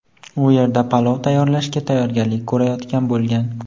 u yerda palov tayyorlashga tayyorgarlik ko‘rayotgan bo‘lgan.